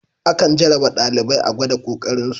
Akan jarraba ɗalibai a gwada ƙoƙarin su.